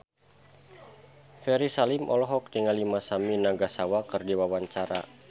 Ferry Salim olohok ningali Masami Nagasawa keur diwawancara